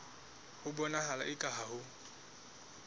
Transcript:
ho bonahala eka ha ho